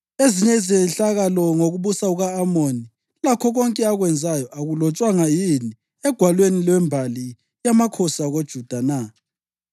Ezinye izehlakalo ngokubusa kuka-Amoni, lakho konke akwenzayo, akulotshwanga yini egwalweni lwembali yamakhosi akoJuda na?